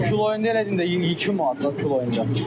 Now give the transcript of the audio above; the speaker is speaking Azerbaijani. Kiloyunda elədim də 2 manatdır kiloyunda.